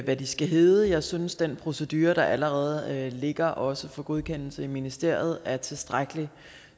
hvad de skal hedde jeg synes den procedure der allerede ligger også for godkendelse i ministeriet er tilstrækkelig